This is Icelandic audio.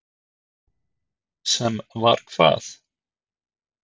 Björn Þorláksson: Sem var hvað?